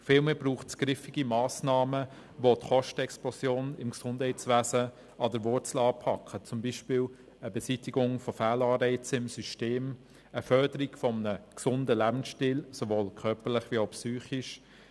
Vielmehr braucht es griffige Massnahmen, welche die Kostenexplosion im Gesundheitswesen an der Wurzel anpacken, beispielsweise eine Beseitigung von Fehlanreizen im System, die Förderung eines gesunden Lebensstils der Bevölkerung, sowohl körperlich als auch psychisch.